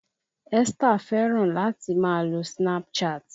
Esther fẹ́ràn láti máa lo Snapchat